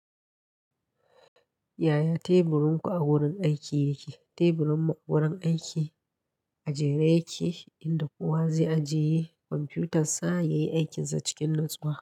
Yaya teburin ku a wurin aiki yake? Teburinmu a wurin aiki a jere yake inda kowa zai ajiye kwamfutar sa ya yi aikinsa cikin natsuwa.